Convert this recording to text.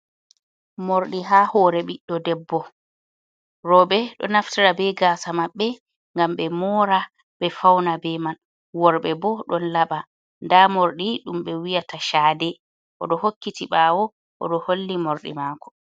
Morɗi haa hoore ɓiɗɗo debbo, rooɓe ɗo naftara bee gaasa maɓɓe ngam ɓe moora ɓe fawna bee man, worɓe bo ɗon laɓa, ndaa morɗi ɗum ɓe wi'ata chaade o ɗo hokkiti baawo o ɗo holli morɗi makko.